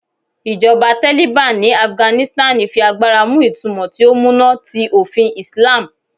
Ijọba Taliban ni Afiganisitani fi agbara mu itumọ ti o muna ti ofin Islam